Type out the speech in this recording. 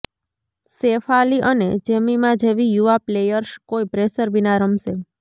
શેફાલી અને જેમિમા જેવી યુવા પ્લેયર્સ કોઇ પ્રેશર વિના રમશે